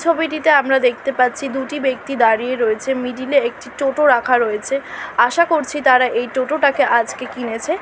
ছবিটিতে আমরা দেখতে পাচ্ছি দুটি ব্যক্তি দাঁড়িয়ে রয়েছে মিডিল এ একটি টোটা রাখা রয়েছে আশা করছি তারা এই টোটাটাকে আজকে কিনেছে।